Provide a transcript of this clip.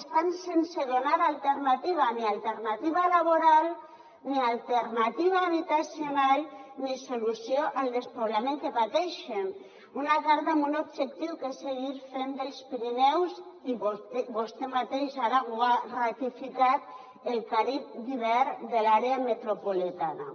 estan sense donar alternativa ni alternativa laboral ni alternativa habitacional ni solució al despoblament que pateixen una carta amb un objectiu que és seguir fent dels pirineus i vostè mateix ara ho ha ratificat el carib d’hivern de l’àrea metropolitana